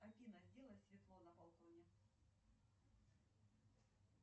салют к какому виду спорта относится брасс